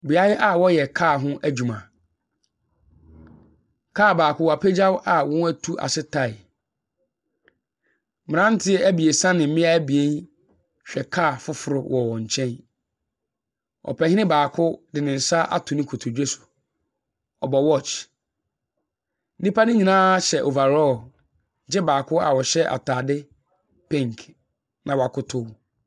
Beaeɛ a wɔyɛ kaa ho adwuma. Kaa baako, wɔapagya a wɔn atu ase tae. Mmeranteɛ abiesa ne mmea abien rehwɛ kaa foforo wɔ wɔn nkyɛn. Ɔpayin baako de ne nsa ato ne kotodwe so. Ɔbɔ watch. Nnipa no nyinaa hyɛ over raw, agye baako a ɔhyɛ atade pink, na wakɔtɔ mu.